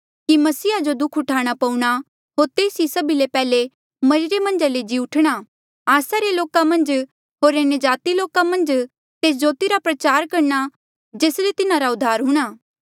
कि मसीहा जो दुःख उठाणा पऊणा होर तेस ई सभी ले पैहले मरिरे मन्झा ले जी उठणा आस्सा रे लोका मन्झ होर अन्यजाति लोका मन्झ तेस ज्योति रा प्रचार करणा जेस ले तिन्हारा उधार हूंणा